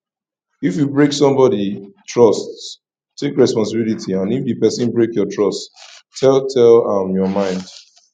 if you break somebody trust take responsibility and if di person break your trust tell tell am your mind